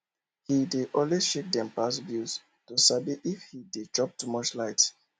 he dey always check dem past bills to sabi if he dey chop too much light